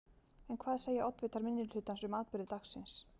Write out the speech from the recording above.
En hvað segja oddvitar minnihlutans um atburði dagsins?